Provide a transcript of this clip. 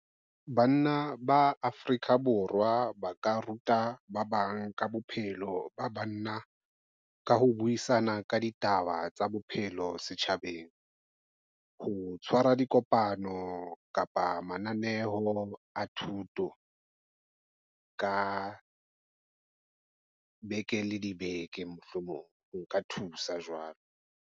Banna ba Afrika Borwa ba ka ruta ba bang ka bophelo ba banna, ka ho buisana ka ditaba tsa bophelo setjhabeng, ho tshwara dikopano kapa mananeo a thuto ka beke le dibeke. Mohlomong nka thusa jwalo.